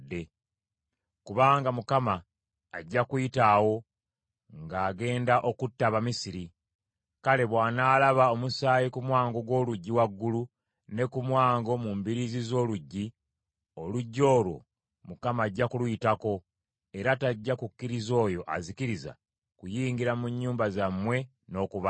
Kubanga Mukama ajja kuyita awo ng’agenda okutta Abamisiri; kale bw’anaalaba omusaayi ku mwango gw’oluggi waggulu ne ku mwango mu mbiriizi z’oluggi, oluggi olwo Mukama ajja kuluyitako, era tajja kukkiriza oyo azikiriza kuyingira mu nnyumba zammwe n’okubatta.